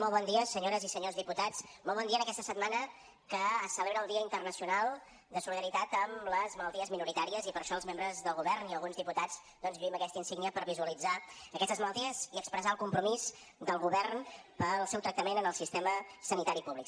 molt bon dia senyores i senyors diputats molt bon dia en aquesta setmana que es celebra el dia internacional de solidaritat amb les malalties minoritàries i per això els membres del govern i alguns diputats lluïm aquesta insígnia per visualitzar aquestes malalties i expressar el compromís del govern pel seu tractament en el sistema sanitari públic